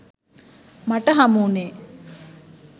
මට හමුවුණේ